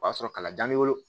O y'a sɔrɔ kalan bɛ n bolo